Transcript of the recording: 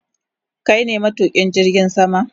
Kai ne matukin jirgin sama?